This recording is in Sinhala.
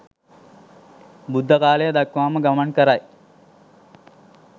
බුද්ධ කාලය දක්වාම ගමන් කරයි.